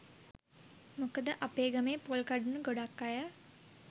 මොකද අපේ ගමේ පොල් කඩන ගොඩක් අය